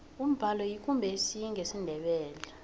umbalo yikumbesi ngesindebele